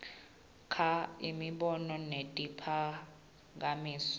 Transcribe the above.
kha imibono netiphakamiso